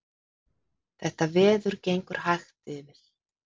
Þetta veður gengur hægt yfir